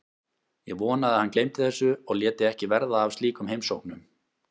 Ég vonaði að hann gleymdi þessu og léti ekki verða af slíkum heimsóknum.